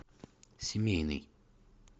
семейный